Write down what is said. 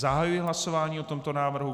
Zahajuji hlasování o tomto návrhu.